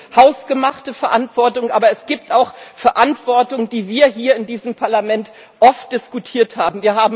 Da gibt es hausgemachte Verantwortung, aber es gibt auch Verantwortung, die wir hier in diesem Parlament oft diskutiert haben.